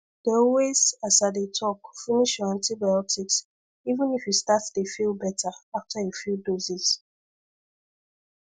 dey always as i dey talk finish your antibiotics even if you start dey feel better after a few doses